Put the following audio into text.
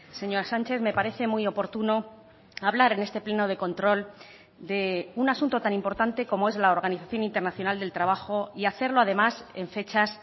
señora sánchez me parece muy oportuno hablar en este pleno de control de un asunto tan importante como es la organización internacional del trabajo y hacerlo además en fechas